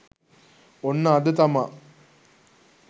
ඔන්න අද තමා